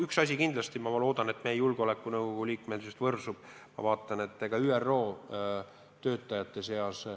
Üks asi kindlasti: ma loodan, et meie liikmesusest julgeolekunõukogus võrsub ka kasu.